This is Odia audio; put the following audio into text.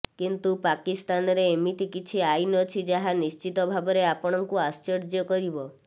କିନ୍ତୁ ପାକିସ୍ତାନରେ ଏମିତି କିଛି ଆଇନ୍ ଅଛି ଯାହା ନିଶ୍ଚିତ ଭାବରେ ଆପଣଙ୍କୁ ଆଶ୍ଚର୍ଯ୍ୟ କରିବ